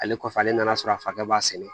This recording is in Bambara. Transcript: Ale kɔfɛ ale nan'a sɔrɔ a fakɛ b'a sɛnɛ